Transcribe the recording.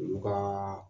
U ka